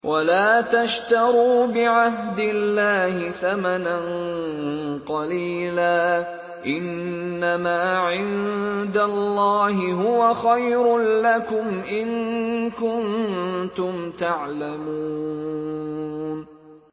وَلَا تَشْتَرُوا بِعَهْدِ اللَّهِ ثَمَنًا قَلِيلًا ۚ إِنَّمَا عِندَ اللَّهِ هُوَ خَيْرٌ لَّكُمْ إِن كُنتُمْ تَعْلَمُونَ